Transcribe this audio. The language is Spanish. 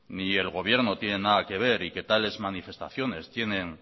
ni el gobierno tienen nada que ver y que tales manifestaciones tienen